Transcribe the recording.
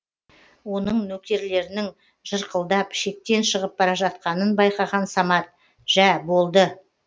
оның нөкерлерінің жырқылдап шектен шығып бара жатқанын байқаған самат жә болды